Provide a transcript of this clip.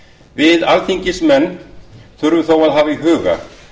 við alþingismenn þurfum þó að hafa í huga